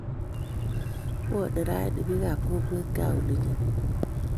Bwone ranii bikaap kokwet gaa olinyo